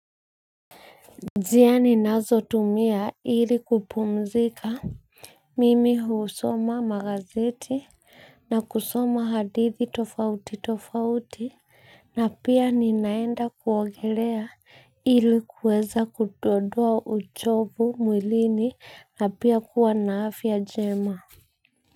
Njia ninazotumia ili kupumzika mimi husoma magazeti na kusoma hadithi tofauti tofauti na pia ninaenda kuogelea ili kuweza kudondoa uchovu mwilini na pia kuwa na afya njema.